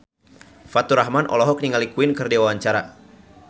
Faturrahman olohok ningali Queen keur diwawancara